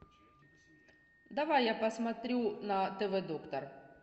давай я посмотрю на тв доктор